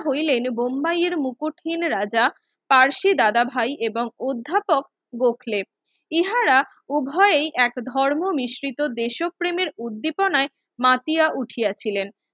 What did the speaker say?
হইলেন বোম্বায়ের মুকুট হীন রাজা পার্শে দাদা ভাই এবং অধ্যাপক গোখলেপ ইহারা উভয়ে এক ধর্ম মিশ্রিত দেশ ও প্রেমের উদ্দীপনায় মাতিয়া মাতিয়া উঠিয়াছিলেন